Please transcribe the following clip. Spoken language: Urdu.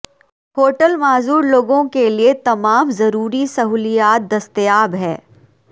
ہوٹل معذور لوگوں کے لئے تمام ضروری سہولیات دستیاب ہیں